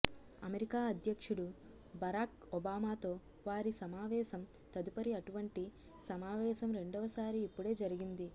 America అధ్యక్షుడు Barack ఒబామాతో వారి సమావేశం తదుపరి అటువంటి సమావేశం రెండవసారి ఇప్పుడే జరిగింది